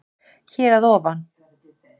Hér að ofa